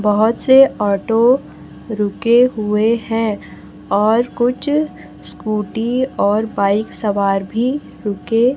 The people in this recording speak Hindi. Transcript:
बहोत से ऑटो रुके हुए हैं और कुछ स्कूटी और बाइक सवार भी रुके--